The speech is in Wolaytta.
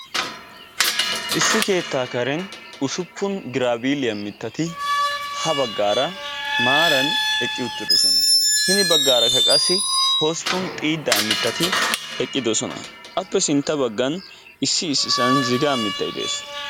Issi keetta karen ussuppun giraabiiliyaa mittaati ha baggaara maaran eqqi uttidoosona. Hini baggarakka qassi hosppun xiidda mittati eqqidoosona. Appe sintta baggan issi issisan zigaa mittay de'ees.